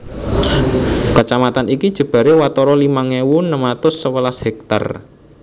Kacamatan iki jebaré watara limang ewu enem atus sewelas hèktar